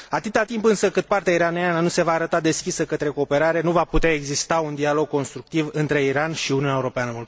Atât timp însă cât partea iraniană nu se va arăta deschisă către cooperare, nu va putea exista un dialog constructiv între Iran și Uniunea Europeană.